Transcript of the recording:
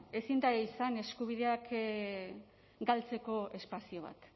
izan eskubideak galtzeko espazio bat